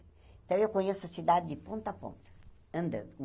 Então, eu conheço a cidade de ponta a ponta, andando.